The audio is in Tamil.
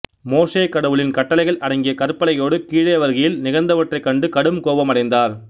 மோசே கடவுளின் கட்டளைகள் அடங்கிய கற்பலகையோடு கீழே வருகையில் நிகழ்ந்தவற்றைக் கண்டு கடும் கோபமடைந்தார்